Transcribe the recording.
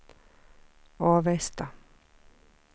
Avesta